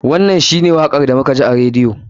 Wannan shi ne wakar da muka ji a radiyo.